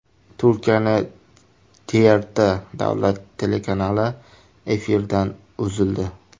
Turkiyaning TRT davlat telekanali efirdan uzildi.